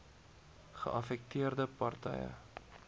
geaffekteerde par tye